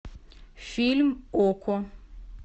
фильм окко